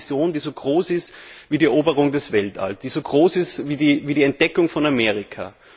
Wir brauchen eine Vision, die so groß ist wie die Eroberung des Weltalls, die so groß ist wie die Entdeckung von Amerika!